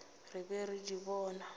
re be re di bona